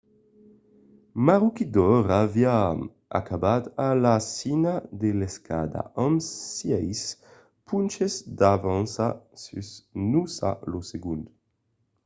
maroochydore aviá acabat a la cima de l'escala amb sièis ponches d'avança sus noosa lo segond